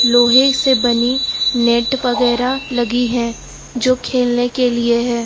लोहे से बनी नेट वगैरा लगी है जो खेलने के लिए है।